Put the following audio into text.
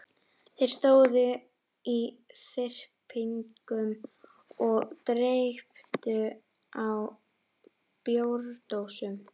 Þeir stóðu í þyrpingum og dreyptu á bjórdósum.